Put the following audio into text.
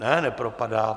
Ne, nepropadá.